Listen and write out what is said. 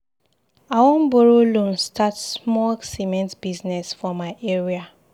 I wan borrow loan start small cement business for my area.